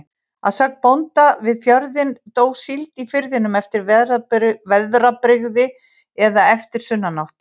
Að sögn bónda við fjörðinn, dó síld í firðinum eftir veðrabrigði eða eftir sunnanátt.